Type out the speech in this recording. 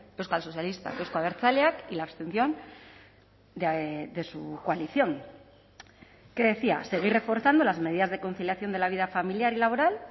euskal sozialistak euzko abertzaleak y la abstención de su coalición que decía seguir reforzando las medidas de conciliación de la vida familiar y laboral